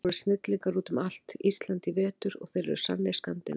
Þeir voru snillingar út um allt Ísland í vetur og þeir eru sannir Skandinavar.